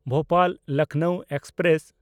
Bhopal-Lucknow express